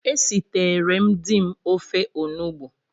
Esiteree m di m ofe Onugbu